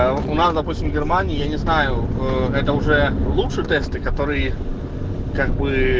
а ну нас допустим в германии я не знаю ээ это уже лучше тесты которые как бы